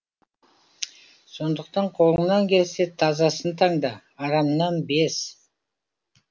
сондықтан қолыңнан келсе тазасын таңда арамнан без